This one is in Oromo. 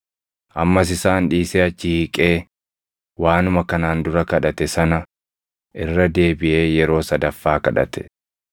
Ammas isaan dhiisee achi hiiqee waanuma kanaan dura kadhate sana irra deebiʼee yeroo sadaffaa kadhate.